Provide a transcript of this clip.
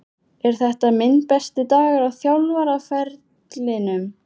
Er þetta minn besti dagur á þjálfaraferlinum?